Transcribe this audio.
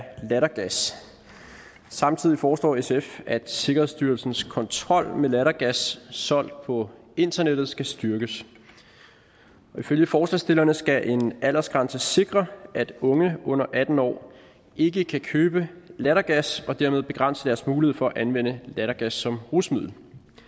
af lattergas samtidig foreslår sf at sikkerhedsstyrelsens kontrol med lattergas solgt på internettet skal styrkes ifølge forslagsstillerne skal en aldersgrænse sikre at unge under atten år ikke kan købe lattergas og dermed begrænse deres mulighed for at anvende lattergas som rusmiddel